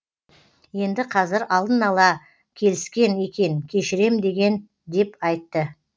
енді қазір алдын ала келіскен екен кешірем деген деп айтты